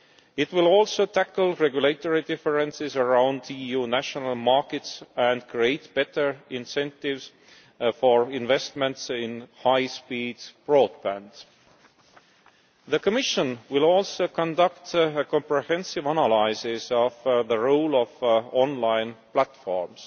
It will also tackle regulatory differences around EU national markets and create better incentives for investments in high speed broadband. The Commission will also conduct a comprehensive analysis of the role of online platforms.